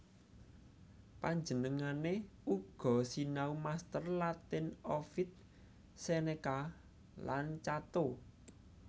Panjenengané uga sinau master Latin Ovid Seneca lan Cato